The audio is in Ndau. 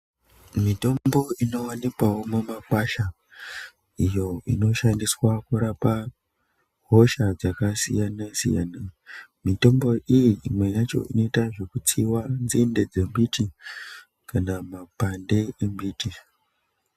Mitombo inowanikwawo mumakwasha iyo inoshandiswa kurapa hosha dzakasiyana-siyana mitombo iyi imwe yacho inoitwa zvekutsiwa nzinde dzemiti kane mapande emiti.